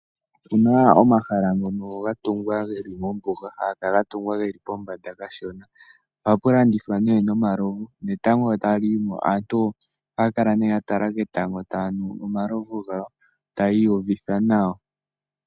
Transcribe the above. Opuna omahala ngono ga tungwa geli mombuga haga kala ga tungwa geli pombanda kashona. Ohapu landithwa ne omalovu netango sho tali yimo aantu ohaya kala ne ya tala ketango taya nu omalovu gawo taya iyuvitha nawa.